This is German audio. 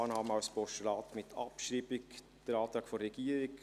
Annahme als Postulat und gleichzeitige Abschreibung gemäss Antrag der Regierung;